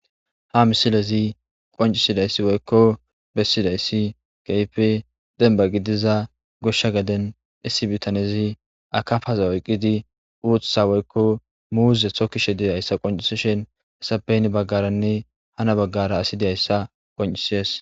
ha misilezi qoncisidayssi woykko bessidayssi keyfe denba gidiza goshsha gaden issibitanezi akafaza oyqqidi uuththa woykko muuze tho kishe diyayssa qoncisishen hesapeyn baggaranne hana baggara asi diyayssa qoncisies